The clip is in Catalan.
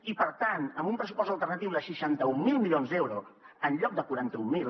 i per tant amb un pressupost alternatiu de seixanta mil milions d’euros en lloc de quaranta mil